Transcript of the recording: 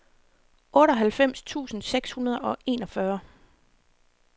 otteoghalvfems tusind seks hundrede og enogfyrre